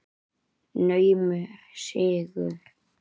Naumur sigur.